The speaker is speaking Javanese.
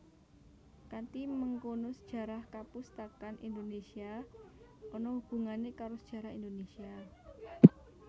Kanthi mengkono sejarah kapustakan Indonésia ana hubungané karo sejarah Indonésia